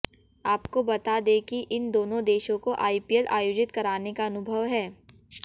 आपको बता दें कि इन दोनों देशों को आईपीएल आयोजित कराने का अनुभव है